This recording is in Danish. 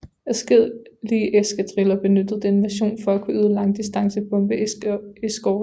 Adskillige eskadriller benyttede denne version for at kunne yde langdistance bombereskorte